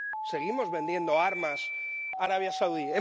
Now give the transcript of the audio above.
Seguimos vendiendo armas a Arabia Saudí.